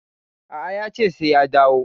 A'a, yace sai ya dawo.